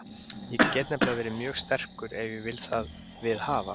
Ég get nefnilega verið mjög sterkur ef ég vil það viðhafa.